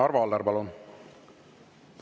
Arvo Aller, palun!